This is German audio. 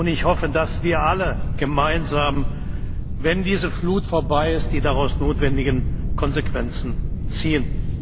Ich hoffe, dass wir alle gemeinsam, wenn diese Flut vorbei ist, die daraus notwendigen Konsequenzen ziehen.